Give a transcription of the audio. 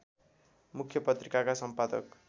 मुख्य पत्रिकाका सम्पादक